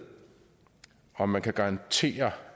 om man kan garantere